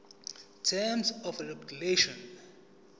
terms of regulation